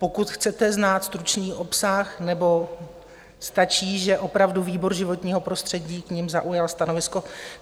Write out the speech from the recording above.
Pokud chcete znát stručný obsah nebo stačí, že opravdu výbor životního prostředí k nim zaujal stanovisko...?